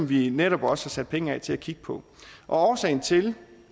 vi netop også har sat penge af til at kigge på årsagen til